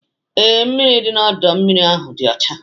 Ee, mmiri dị n'ọdọ mmiri ahụ dị ọcha.